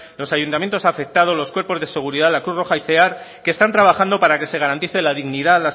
los ayuntamientos afectados los cuerpos de seguridad la cruz roja y cear que están trabajando para que se garantice la dignidad